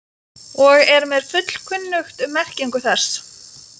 og er mér fullkunnugt um merkingu þess.